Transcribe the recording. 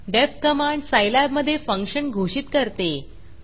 deffडेफ्फ command सायलॅबमधे function घोषित करते